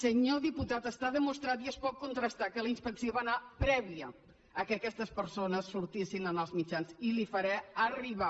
senyor diputat està demostrat i es pot contrastar que la inspecció hi va anar prèviament que aquestes persones sortissin en els mitjans i li ho faré arribar